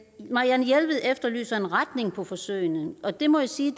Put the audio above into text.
marianne jelved efterlyser en retning for forsøgene og det må jeg sige